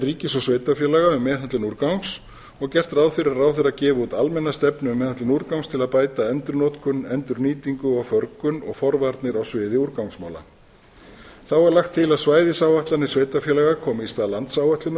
ríkis og sveitarfélaga um meðhöndlun úrgangs og gert ráð fyrir að ráðherra gefi út almenna stefnu um meðhöndlun úrgangs til að bæta endurnotkun endurnýtingu og förgun og forvarnir á sviði úrgangsmála þá er lagt til að svæðisáætlanir sveitarfélaga komi í stað